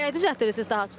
Nəyi düzəldirsiniz daha çox?